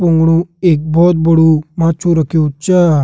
पुंगड़ू एक बहोत बड़ू माछु रख्युं च।